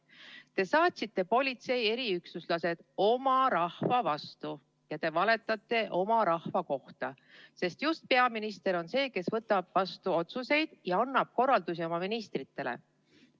Te saatsite politsei eriüksuslased oma rahva vastu ja te valetate oma rahva kohta, sest just peaminister on see, kes võtab vastu otsuseid ja annab korraldusi oma ministritele.